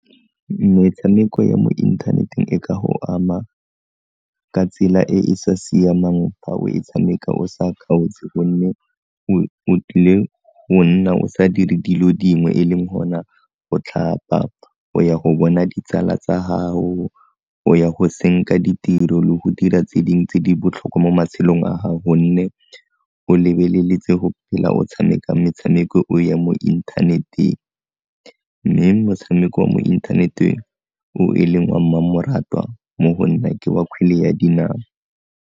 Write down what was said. Metshameko e mo inthaneteng e ka go ama ka tsela e e sa siamang fa o e tshameka o sa kgaotse, gonne o tlile go nna o sa dire dilo dingwe e leng gona go tlhapa, go ya go bona ditsala tsa gago, go ya go senka ditiro le go dira tse ding tse di botlhokwa mo matshelong a gao gonne o lebeleletse go phela o tshameka metshameko ya mo inthaneteng, mme motshameko wa mo inthaneteng o e leng wa mmamoratwa mo go nna ke wa kgwele ya dinao.